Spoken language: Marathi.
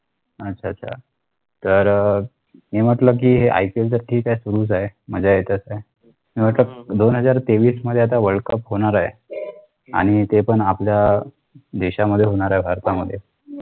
अच्छा आच्छा तर मी म्हंटल कि IPL तर ठीक आहे सुरूच हाय मज्जा येतच हाय मी म्हंटल दोन हजार तेवीस मध्ये आता world cup होणार हाय आणि ते पण आपल्या देशामध्ये होणार आहे भारतामध्ये